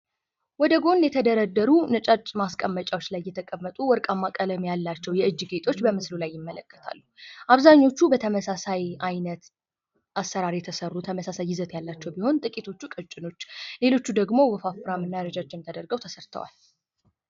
ወደጎን የተደረደሩ ነጫጭ ማስቀመጫዎች ላይ የተቀመጡ ወርቃማ ቀለም ያላቸው የእጅ ጌጦች በምስሉ ላይ ይመለከታሉ። አብዘሃኞቹ በተመሳሳይ አይነት አሰራር የተሰሩ ተመሳሳይ ይዘት ያላቸው ሲሆን ጥቂቶቹ ቀጭኖች ሌሎቹ ደሞ ወፋፍራም እና ረጃጅም ተደርገው ተሰርተዋል።